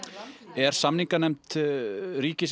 er samninganefnd ríkisins